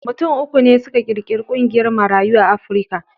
Mutum uku ne suka ƙirƙiri ƙungiyar Marayun Afrika.